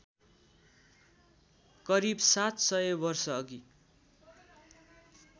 करीब ७०० वर्षअघि